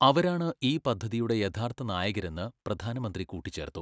അവരാണ് ഈ പദ്ധതിയുടെ യഥാർത്ഥ നായകരെന്ന് പ്രധാനമന്ത്രി കൂട്ടിച്ചേർത്തു .